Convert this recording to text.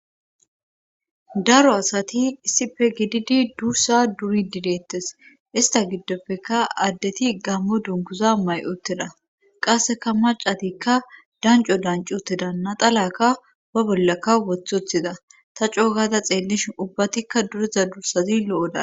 daro asati issife gididi dursa duri dideettes ista giddopfeka addeti gammo dunkuza may7oteda qasseka macatikka danco dancuutedanna talaka ba bollaka wothothida ta coo gaada xeellishin ubbatikka duriza dursazi lo7oda